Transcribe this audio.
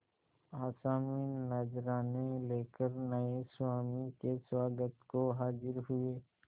आसामी नजराने लेकर नये स्वामी के स्वागत को हाजिर हुए